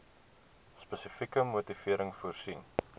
spesifieke motivering voorsien